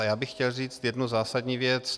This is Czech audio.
A já bych chtěl říct jednu zásadní věc.